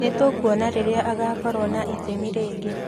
Nĩ tũkuona rĩrĩa agaakorũo na itemi rĩngĩ.'